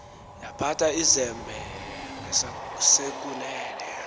yaphatha izembe ngesasekunene